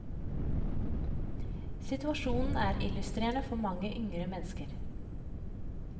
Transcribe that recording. Situasjonen er illustrerende for mange yngre mennesker.